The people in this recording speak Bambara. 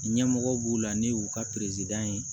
Ɲɛmɔgɔ b'u la ne y'u ka ye